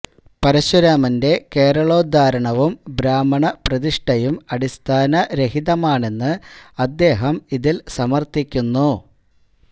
പരശുരാമന്റെ കേരളോദ്ധാരണവും ബ്രാഹ്മണ പ്രതിഷ്ഠയും അടിസ്ഥാന രഹിതമാണെന്ന് അദ്ദേഹം ഇതില് സമര്ത്ഥിക്കുന്നു